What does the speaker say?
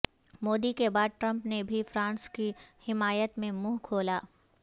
مودی کے بعد ٹرمپ نے بھی فرانس کی حمایت میں منہ کھولا